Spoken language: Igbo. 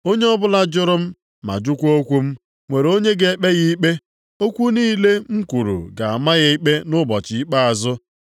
Onye ọbụla jụrụ m ma jụkwa okwu m, nwere onye ga-ekpe ya ikpe. Okwu niile m kwuru ga-ama ya ikpe nʼụbọchị ikpeazụ.